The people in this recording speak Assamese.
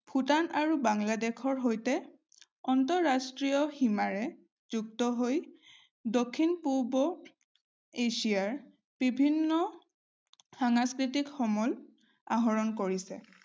ভুটান আৰু বাংলাদেশৰ সৈতে আন্তৰাষ্ট্ৰীয় সীমাৰে যুক্তহৈ দক্ষিণ-পূব এচিয়াৰ বিভিন্ন সাংস্কৃতিক সমল আহৰণ কৰিছে।